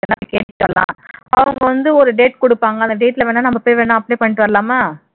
அவங்க வந்து ஒரு date குடுப்பாங்க அந்த date ல வேணா போய் apply பண்ணிட்டு வரலாமா